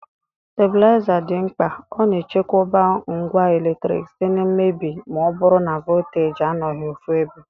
Stabilaiza dị mkpa,ọ na echekwoba ngwa eletrik site na mmebi ma ọ bụrụ na voltaji anọghị ofụebe.